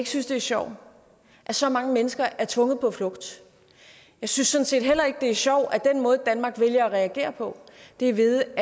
synes det er sjovt at så mange mennesker er tvunget på flugt jeg synes sådan set heller ikke det er sjovt at den måde danmark vælger at reagere på er ved